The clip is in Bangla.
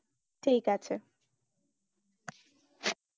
ঠিক আছে।